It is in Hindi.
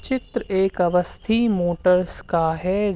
चित्र एक अवस्थी मोटर्स का है ज --